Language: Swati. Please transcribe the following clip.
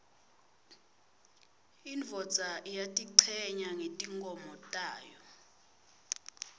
indvodza iyatichenya ngetimkhomo tayo